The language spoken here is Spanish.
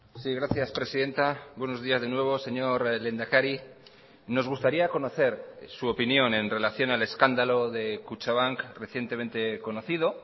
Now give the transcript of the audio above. sí gracias presidenta buenos días de nuevo señor lehendakari nos gustaría conocer su opinión en relación al escándalo de kutxabank recientemente conocido